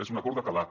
és un acord de calat